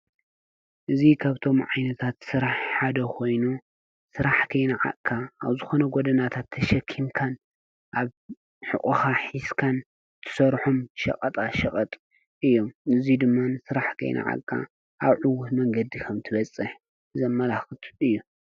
እዙይ ካብቶም ዓይነታት ስራሕ ሓደ ኾይኑ ስራሕ ከይነዓቅካ ኣብ ዝኾነ ጎደናታት ተሸኪምካን ኣብ ሑቐኻ ሒዝካን ትሰርሖም ሸቀጣ ሸቀጥ እዮም። ነዚ ድማ ስራሕ ከይነዓቅካን ኣብ ዕዉት መንገዲ ከም እትበፅሕ ዘመላክት እዩ።